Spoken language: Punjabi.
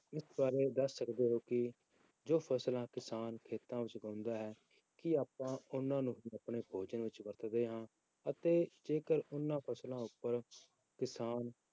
ਇਸ ਬਾਰੇ ਦੱਸ ਸਕਦੇ ਹੋ ਕਿ ਜੋ ਫਸਲਾਂ ਕਿਸਾਨ ਖੇਤਾਂ ਵਿੱਚ ਉਗਾਉਂਦਾ ਹੈ, ਕੀ ਆਪਾਂ ਉਹਨਾਂ ਨੂੰ ਆਪਣੇ ਭੋਜਨ ਵਿੱਚ ਵਰਤਦੇ ਹਾਂ ਅਤੇ ਜੇਕਰ ਉਹਨਾਂ ਫਸਲਾਂ ਉੱਪਰ ਕਿਸਾਨ